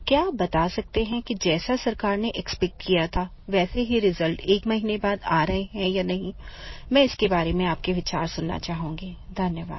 क्या आप बता सकते हैं कि जैसा सरकार ने एक्सपेक्ट किया था वैसे ही रिजल्ट एक महीने बाद आ रहे हैं या नहीं मैं इसके बारे में आपके विचार सुनना चाहूँगी धन्यवाद